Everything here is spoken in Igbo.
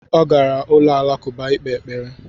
Ọ gara ụlọ alakụba ikpe ekpere